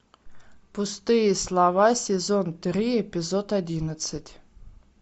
пустые слова сезон три эпизод одиннадцать